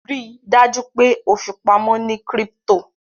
Ríi dájú pe o fipamọ ní crypto